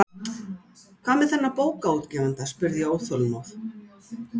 Hvað með þennan bókaútgefanda? spurði ég óþolinmóð.